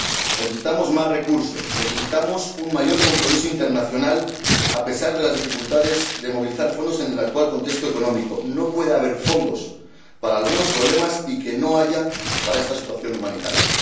Necesitamos más recursos, necesitamos un mayor compromiso internacional, a pesar de las dificultades de movilizar fondos en el actual contexto económico. No es posible que haya fondos para algunos problemas y que no haya fondos para esta situación humanitaria.